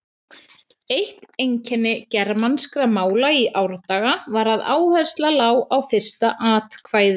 Eitt einkenni germanskra mála í árdaga var að áhersla lá á fyrsta atkvæði.